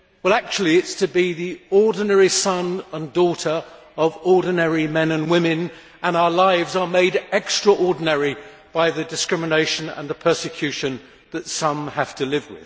Actually, it is to be the ordinary son or daughter of ordinary men and women, and our lives are made extraordinary by the discrimination and the persecution with which some have to live.